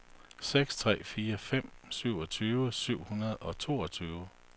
seks tre fire fem syvogtyve syv hundrede og toogtyve